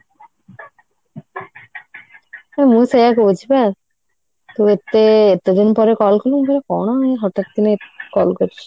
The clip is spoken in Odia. ମୁଁ ସେଇଆ କହୁଛି ପା କି ଏତେ ଏତେ ଦିନ ପରେ call କଲୁ ମୁଁ କହିଲି କଣ ଇଏ ହଠାତ କିନା call କରିଛି